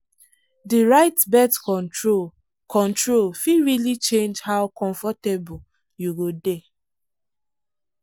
the right birth control control fit really change how comfortable you go dey.